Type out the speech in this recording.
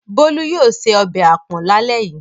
Bolu yóò se ọbẹ̀ àpọ̀n lálẹ́ yìí.